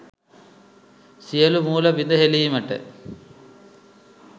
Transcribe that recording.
සියලූ මූල බිඳ හෙළීමට